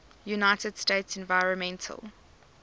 united states environmental